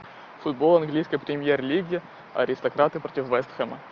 футбол английской премьер лиги аристократы против вест хэма